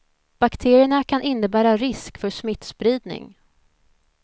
Bakterierna kan innebära risk för smittspridning.